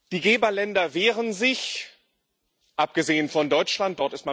Die Geberländer wehren sich, abgesehen von Deutschland.